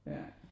Ja